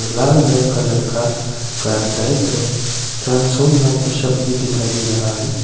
लाल रंग का लड़का का दाईं तरफ ट्रांसोल नाम का शब्द भी दिखाई दे रहा है।